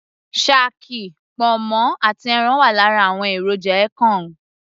shaki, ponmo àti ẹran wà lára àwọn èròjà ekong